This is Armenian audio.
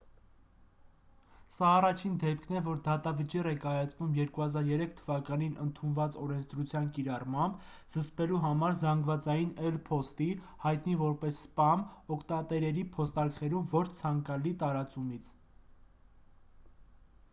սա առաջին դեպքն է որ դատավճիռ է կայացվում 2003 թ.-ին ընդունված օրենսդրության կիրառմամբ՝ զսպելու համար զանգվածային էլ. փոստի հայտնի որպես «սպամ» օգտատերերի փոստարկղերում ոչ ցանկալի տարածումից։